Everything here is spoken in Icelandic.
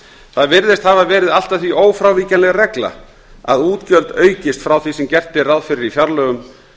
það virðist hafa verið allt að því ófrávíkjanleg regla að útgjöld aukist frá því sem gert er ráð fyrir í fjárlögum